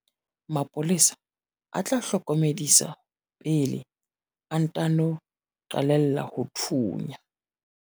mapolesa a tla hlokomedisa pele a ntano qalella ho thunya